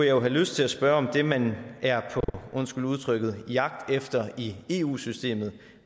jo have lyst til at spørge om det man er undskyld udtrykket på jagt efter i eu systemet